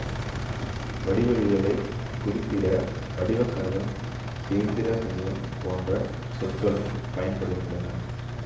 வடிவவியலைக் குறிப்பிட வடிவகணிதம் கேந்திர கணிதம் போன்ற சொற்களும் பயன்படுகின்றன